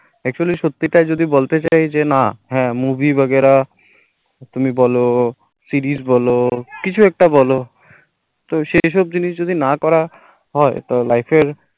actually সত্যিটা যদি বলতে চাইছেনা হ্যাঁ movie বাগেরা তুমি বলো series বলো কিছু একটা বলো তো সেসব জিনিস যদি না করা হয় তো life এর